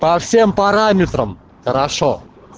по всем параметрам хорошо